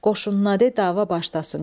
Qoşun nade dava başlasın.